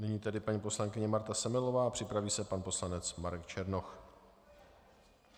Nyní tedy paní poslankyně Marta Semelová a připraví se pan poslanec Marek Černoch.